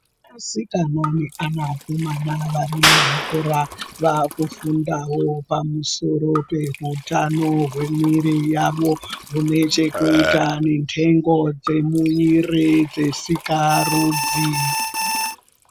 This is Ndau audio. Asikana neana akomana vari muzvikora Vakufundawo pamusoro pehutano Hwemuwiri yawo zvinechekuita nenhengo dzemuiri dzetsikarudzi.